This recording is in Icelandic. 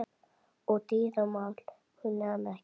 Og dýramál kunni hann ekki.